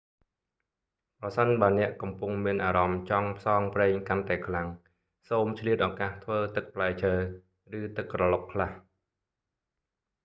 ប្រសិនបើអ្នកកំពុងមានអារម្មណ៍ចង់ផ្សងព្រេងកាន់តែខ្លាំង សូមឆ្លៀតឱកាសធ្វើទឹកផ្លែឈើ ឬទឹកក្រឡុកខ្លះ៖